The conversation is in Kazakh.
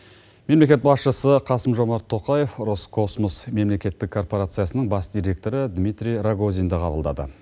мемлекет басшысы қасым жомарт тоқаев роскосмос мемлекеттік корпорациясының бас директоры дмитрий рогозинді қабылдады